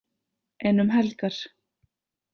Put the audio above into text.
En um helgar?